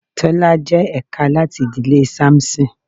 Tọ́lá jẹ́ ẹ̀ka láti ìdílé Samson.